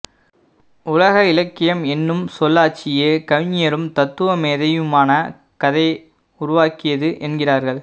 உலக இலக்கியம் என்னும் சொல்லாட்சியே கவிஞரும் தத்துவமேதையுமான கதே உருவாக்கியது என்கிறார்கள்